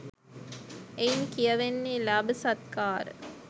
එයින් කියැවෙන්නේ ලාභසත්කාර